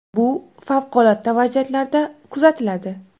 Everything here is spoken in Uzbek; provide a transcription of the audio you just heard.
Bu favqulodda vaziyatlarda kuzatiladi.